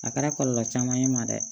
A kɛra kɔlɔlɔ caman ye n ma dɛ